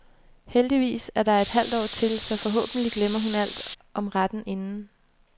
Heldigvis er der et halvt år til, så forhåbentlig glemmer hun alt om retten inden.